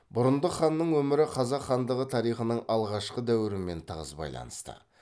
бұрындық ханның өмірі қазақ хандығы тарихының алғашқы дәуірімен тығыз байланысты